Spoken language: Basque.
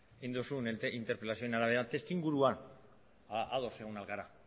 egin duzun interpelazioaren arabera testuinguruan ados egon ahal gara